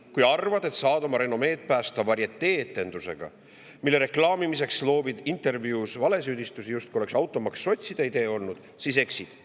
Kui arvad, et saad oma renomeed päästa varietee-etendusega, mille reklaamimiseks loobid intervjuudes valesüüdistusi, justkui oleks automaks sotside idee olnud, siis eksid.